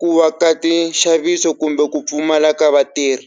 ku va ka ti nxaviso kumbe ku pfumala ka vatirhi.